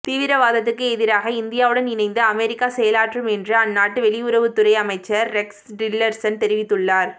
தீவிரவாதத்துக்கு எதிராக இந்தியாவுடன் இணைந்து அமெரிக்கா செயலாற்றும் என்று அந்நாட்டு வெளியுறவுத்துறை அமைச்சர் ரெக்ஸ் டில்லர்சன் தெரிவித்துள்ளார்